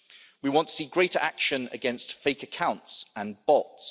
We want to see greater action against fake accounts and bots.